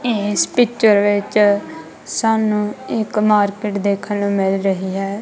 ਇਸ ਪਿੱਚਰ ਵਿੱਚ ਸਾਨੂੰ ਇੱਕ ਮਾਰਕੀਟ ਦੇਖਣ ਨੂੰ ਮਿਲ ਰਹੀ ਹੈ।